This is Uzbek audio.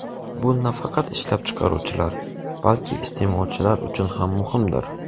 Bu nafaqat ishlab chiqaruvchilar, balki iste’molchilar uchun ham muhimdir.